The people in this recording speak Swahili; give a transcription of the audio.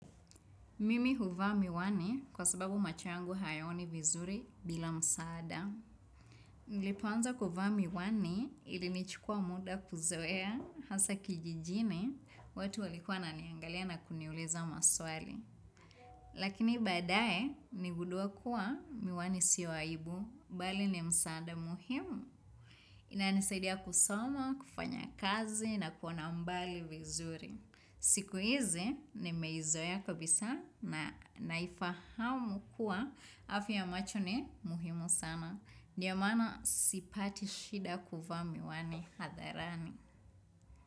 Mimi huvaa miwani kwa sababu macho yangu hayaoni vizuri bila msaada. Nilipoanza kuvaa miwani ilinichukua muda kuzoea hasa kijijini watu walikua wananiangalia na kuniuliza maswali. Lakini baadaye nilingudua kuwa miwani si aibu, mbali ni msaada muhimu. Inanisaidia kusoma, kufanya kazi na kuona mbali vizuri. Siku hizi nimeizoea kabisa na naifahamu kuwa afya ya macho ni muhimu sana. Ni ya maana sipati shida kuvaa miwani hadharani.